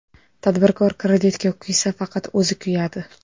Tadbirkor kreditga kuysa, faqat o‘zi kuyadi.